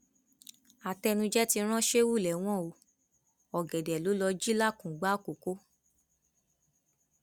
àtẹnuje ti ran sheu lẹwọn o ọgẹdẹ ló lọọ jí làkùngbà àkọkọ